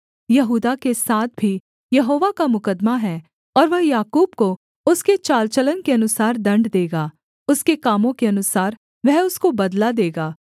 यहूदा के साथ भी यहोवा का मुकद्दमा है और वह याकूब को उसके चाल चलन के अनुसार दण्ड देगा उसके कामों के अनुसार वह उसको बदला देगा